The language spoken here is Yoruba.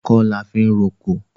Ọkọ́ la fi ń roko.